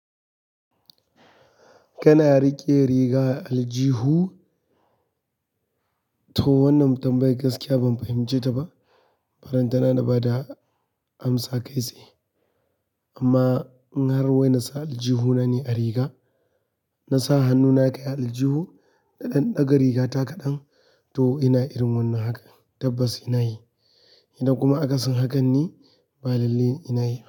Kana riƙe riga aljihu? To wannan tambayar gaskiya ban fahimce ta ba. Barantana na da bada amsa kai tsaye. Amma in har wai na sa aljihu na ne a riga, na sa hannuna kai a aljihu da ɗan ɗaga rigata kaɗan to ina irin wannan haka tabbas ina yi. Idan kuma akasin hakan ne, ba lalle ina yi ba.